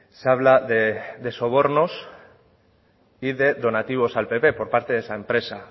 se habla de sobornos y de donativos al pp por parte de esa empresa